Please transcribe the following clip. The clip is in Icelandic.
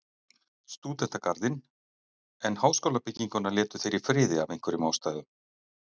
Stúdentagarðinn, en háskólabygginguna létu þeir í friði af einhverjum ástæðum.